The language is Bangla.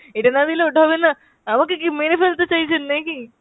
এটা না দিলে ওটা হবে না। আমাকে কি মেরে ফেলতে চাইছেন নাকি?